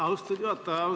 Austatud juhataja!